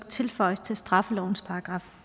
tilføjes til straffelovens §